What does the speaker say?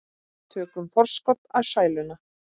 Tökum forskot á sæluna.